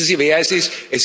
Wissen Sie, wer es ist?